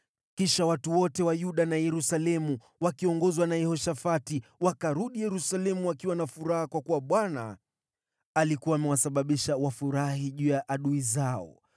Kisha watu wote wa Yuda na Yerusalemu, wakiongozwa na Yehoshafati, wakarudi Yerusalemu wakiwa na furaha kwa kuwa Bwana alikuwa amewasababisha wafurahi juu ya adui zao.